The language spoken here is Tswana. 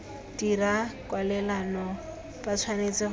dirang kwalelano ba tshwanetse go